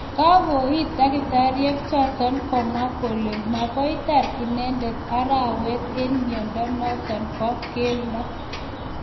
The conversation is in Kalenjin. Kangoit daktariek chotok komwa kole makoitar inendet arawet eng miondo notok po keldo.